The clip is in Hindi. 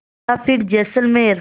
या फिर जैसलमेर